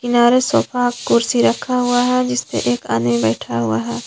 किनारे सोफा कुर्सी रखा हुआ है जिस पे एक आदमी बैठा हुआ है।